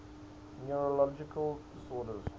neurological disorders